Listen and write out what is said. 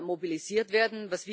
mobilisiert werden.